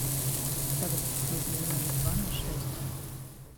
салют нужно умножить два на шесть